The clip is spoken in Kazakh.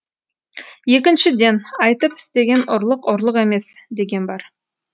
екіншіден айтып істеген ұрлық ұрлық емес деген бар